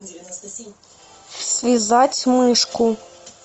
связать мышку